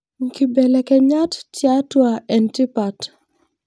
Nkibelekenyat tiatua entipat.